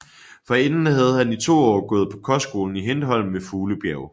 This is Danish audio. Forinden havde han i 2 år gået på kostskolen Hindholm ved Fuglebjerg